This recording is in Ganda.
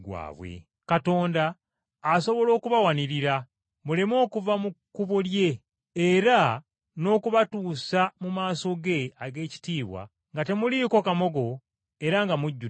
Katonda asobola okubawanirira muleme okuva mu kkubo lye, era n’okubatuusa mu maaso ge ag’ekitiibwa nga temuliiko kamogo era nga mujjudde essanyu;